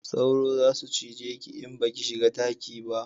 Sauro za su cije ki in ba ki shiga daki ba